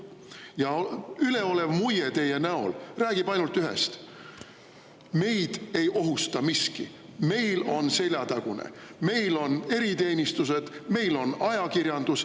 Ja üleolev muie teie näol räägib ainult ühest: meid ei ohusta miski, meil on seljatagune, meil on eriteenistused, meil on ajakirjandus.